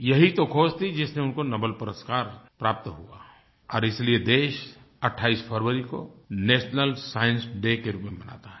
यही तो खोज थी जिसमें उनको नोबेल पुरस्कार प्राप्त हुआ और इसलिए देश 28 फरवरी को नेशनल साइंस डे के रूप में मनाता है